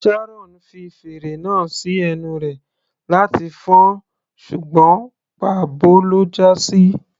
Sharon fi fèrè náà sí ẹnu rẹ̀ láti fọn-ọn ṣùgbọ́n pà bo ló já sí.